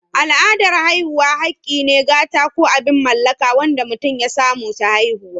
Al'adan haihuwa hakki ne, gata, ko abin mallaka wanda mutum ya samu ta haihuwa.